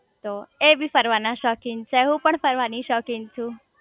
તો એ બી ફરવાના શોખીન છે હું પણ ફરવાની શોખીન છુ